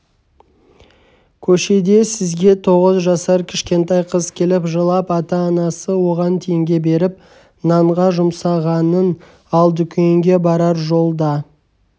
көшеде сізге тоғыз жасар кішкентай қыз келіп жылап анасы оған теңге беріп нанға жұмсағанын ал дүкенге барар жолда